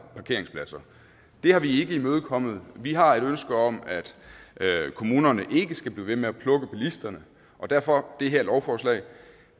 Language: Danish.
parkeringspladser det har vi ikke imødekommet vi har et ønske om at kommunerne ikke skal blive ved med at plukke bilisterne og derfor det her lovforslag